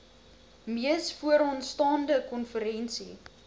mees vooraanstaande konferensie